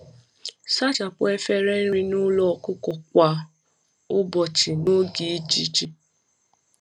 Sachapụ efere nri n'ụlọ ọkụkọ kwa ụbọchị n’oge ijiji.